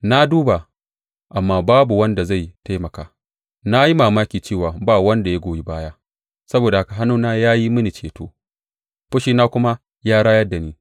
Na duba, amma babu wanda zai taimaka, na yi mamaki cewa ba wanda ya goyi baya; saboda haka hannuna ya yi mini ceto, fushina kuma ya rayar da ni.